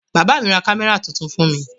Bàbá mi ra kámẹ́rà tuntun fún mi